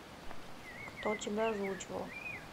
кто тебя озвучивал